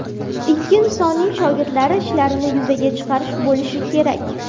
Ikki insonning shogirdlari ishlarini yuzaga chiqarish bo‘lishi kerak”.